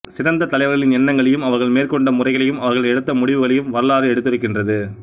சிறந்த தலைவா்களின் எண்ணங்களையும் அவா்கள் மேற்கொண்ட முறைகளையும் அவா்கள் எடுத்த முடிவுகளையும் வரலாறு எடுத்துரைக்கின்றது